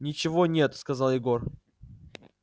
ничего нет сказал егор